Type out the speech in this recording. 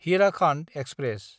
Hirakhand express